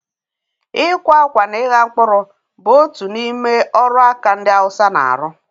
Ịkwa akwa na ịgha mkpụrụ bụ otu n'ime ọrụ aka ndị Hausa na-arụ.